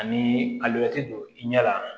Ani alimɛti don i ɲɛ la